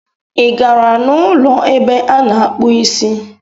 ị gara n' ụlọ ebe a na-akpụ isi?